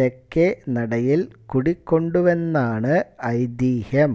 തെക്കേ നടയിൽ കുടികൊണ്ടുവെന്നാണ് ഐതിഹ്യം